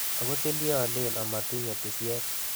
Ok kotilieolen omotinye tisiet.